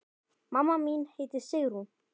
Mamma mín hét Sigrún.